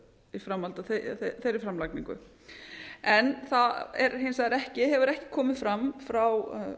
í framhaldi af þeirri framlagningu það gefur hins vegar ekki komið fram frá